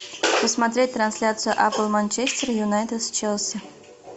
посмотреть трансляцию апл манчестер юнайтед с челси